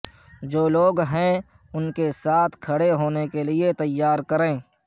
جو لوگ ہیں ان کے ساتھ ساتھ کھڑے ہونے کے لئے تیار کریں